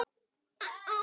Sæl, amma mín.